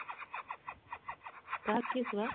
କିଏ ସେ ବା